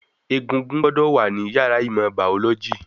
Egungun gbọ́dọ̀ wà ní yàrá ìmọ̀ bàọ́lọ́jì